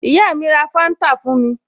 Ìyá mi ra Fanta fún mi